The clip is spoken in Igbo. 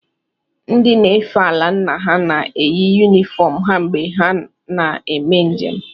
Ndị nefe ala nna ha na-eyi yunifọọm ha mgbe ha na-eme njem.